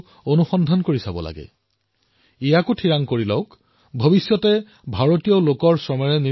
দিনটোত আমি যি সামগ্ৰী ব্যৱহাৰ কৰো সেই সামগ্ৰীসমূহ বিবেচনা কৰি চাওক যে অজানিতে আমাৰ জীৱনত কোনবোৰ বিদেশী সামগ্ৰীয়ে প্ৰৱেশ কৰিছে